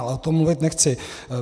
Ale o tom mluvit nechci.